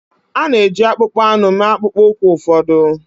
A na-eji akpụkpọ anụ mee akpụkpọ ụkwụ ụfọdụ